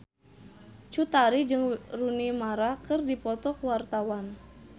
Cut Tari jeung Rooney Mara keur dipoto ku wartawan